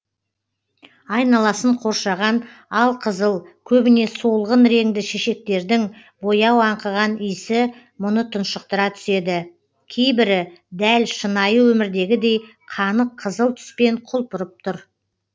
айналасын қоршаған алқызыл көбіне солғын реңді шешектердің бояу аңқыған иісі мұны тұншықтыра түседі кейбірі дәл шынайы өмірдегідей қанық қызыл түспен құлпырып тұр